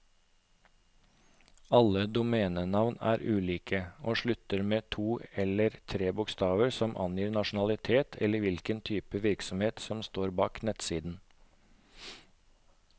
Alle domenenavn er unike, og slutter med to eller tre bokstaver som angir nasjonalitet eller hvilken type virksomhet som står bak nettsiden.